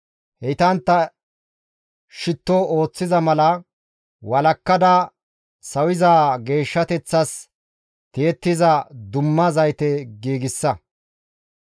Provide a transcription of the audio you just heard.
Heytantta shitto ooththiza mala walakkada sawiza geeshshateththas tiyettiza dumma zayte giigsa.